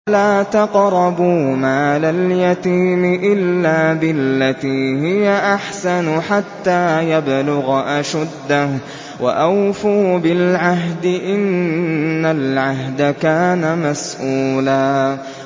وَلَا تَقْرَبُوا مَالَ الْيَتِيمِ إِلَّا بِالَّتِي هِيَ أَحْسَنُ حَتَّىٰ يَبْلُغَ أَشُدَّهُ ۚ وَأَوْفُوا بِالْعَهْدِ ۖ إِنَّ الْعَهْدَ كَانَ مَسْئُولًا